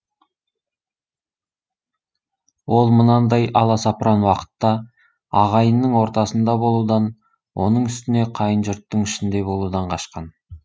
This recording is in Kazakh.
ол мынандай аласапыран уақытта ағайынның ортасында болудан оның үстіне қайын жұрттың ішінде болудан қашқан